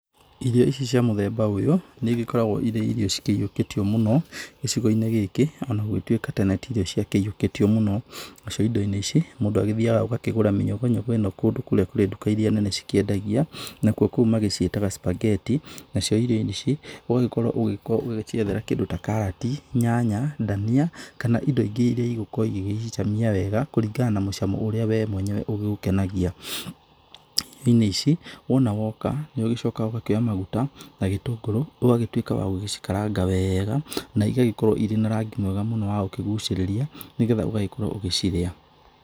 Irio ici cia mũthemba ũyũ nĩ igĩkoragwo irĩ irio cikĩyũkĩtio mũno gĩcigo-inĩ gĩkĩ ona gũtũĩka tene tĩcio cia kĩyũkĩtio mũno. Nacio indo-inĩ ici mũndũ agĩthĩaga ũgakĩgũra mĩnyũgũnyũgũ-ĩno kũndũ kũrĩa kũrĩ nduka iria nene cikĩendagia. Nakũo kũu magĩciĩtaga, spaghetti. Nacio irio-inĩ ici ũgagĩkorwo ũgĩciethera indo ta karati, nyanya, ndania, kana indo ingĩ iria igũgĩkorwo igecicamia wega kũringana na mũcamo ũrĩa wee mwenyewe ũgĩgũkenagia. Irio-inĩ ici wona woka nĩ ũgĩcokaga ũgakĩoya maguta, na gĩtũngũrũ, ũgagĩtũĩka wa gũgĩcikaranga weega na igagĩkorwo irĩ na rangi mwega muno wa gũkĩgũcirĩria nĩgetha ũgagĩkorwo ũgĩcirĩa.